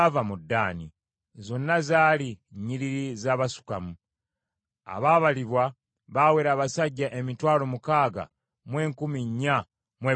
Zonna zaali nnyiriri za Basukamu. Abaabalibwa baawera abasajja emitwalo mukaaga mu enkumi nnya mu ebikumi bina (64,400).